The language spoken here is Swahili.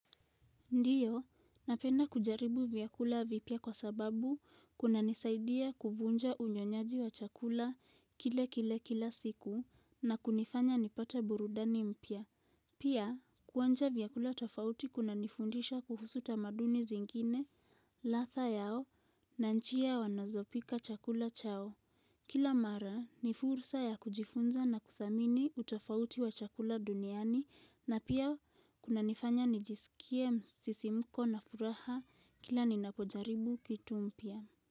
Ndio, napenda kujaribu vyakula vipya kwa sababu kunanisaidia kuvunja unyonyaji wa chakula kilekile kila siku na kunifanya nipate burudani mpya. Pia, kuonja vyakula tofauti kunanifundisha kuhusu tamaduni zingine, ladha yao, na njia wanazopika chakula chao. Kila mara ni fursa ya kujifunza na kuthamini utofauti wa chakula duniani na pia kunanifanya nijisikie msisimuko na furaha kila ninapojaribu kitu mpya.